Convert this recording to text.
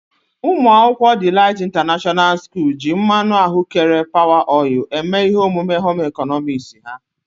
Umuakwukwo Delight International school ji mmanụ ahụ́kere Power oil eme ihe omume Home ịkọnọmiks ha.